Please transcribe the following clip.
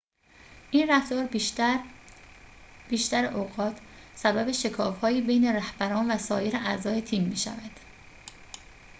این رفتار بیشتر اوقات سبب شکاف‌هایی بین رهبران و سایر اعضای تیم می‌شود